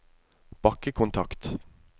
bakkekontakt